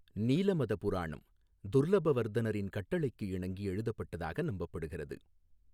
நீலமத புராணம் துர்லபவர்தனரின் கட்டளைக்கு இணங்கி எழுதப்பட்டதாக நம்பப்படுகிறது.